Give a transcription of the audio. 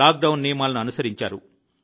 lockdown నియమాలను అనుసరించారు